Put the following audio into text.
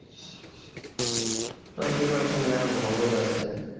তো preparation যাইহোক ভালোই আছে